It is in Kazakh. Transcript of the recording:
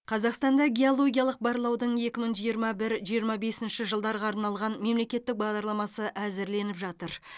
қазақстанда геологиялық барлаудың екі мың жиырма бір жиырма бесінші жылдарға арналған мемлекеттік бағдарламасы әзірленіп жатыр